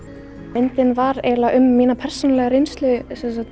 myndin var eiginlega um mína persónulegu reynslu